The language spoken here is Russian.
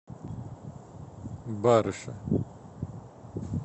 барыше